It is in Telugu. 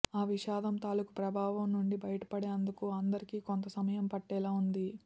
ఆ విషాదం తాలుకు ప్రభావం నుంచి బయటపడేందుకు అందరికి కొంత సమయం పట్టేలా ఉంది